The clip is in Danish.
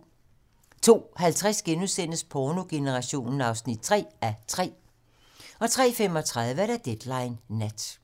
02:50: Pornogenerationen (3:3)* 03:35: Deadline nat